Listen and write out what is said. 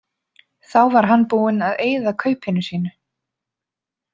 Þá var hann búinn að eyða kaupinu sínu.